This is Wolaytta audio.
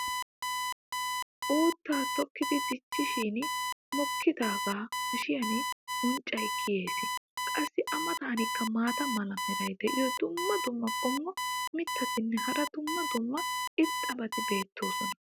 uuttaa tokkidi dichchin mokkidaagaa haashshin unccay kiyees. qassi a matankka maata mala meray diyo dumma dumma qommo mitattinne hara dumma dumma irxxabati de'oosona.